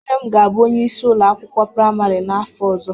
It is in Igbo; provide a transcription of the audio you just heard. Nne m ga-abụ onyeisi ụlọ akwụkwọ praimarị n'afọ ọzọ